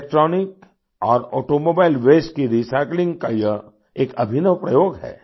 electronic और automobile waste की recycling का यह एक अभिनव प्रयोग है